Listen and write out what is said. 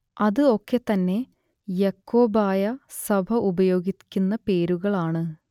അത് ഒക്കെ തന്നെ യാക്കോബായ സഭ ഉപയോഗിക്കുന്ന പേരുകൾ ആണ്